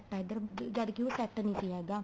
set ਆ ਜਦ ਕੀ ਉਹ ਸੈਟ ਨੀਂ ਸੀ ਹੈਗਾ